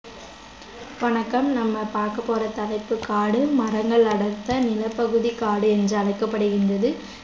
வணக்கம் நம்ம பார்க்க போற தலைப்பு காடு மரங்கள் அடர்ந்த நிலப்பகுதி காடு என்று அழைக்கப்படுகின்றது